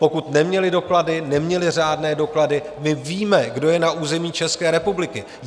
Pokud neměli doklady, neměli řádné doklady, my víme, kdo je na území České republiky.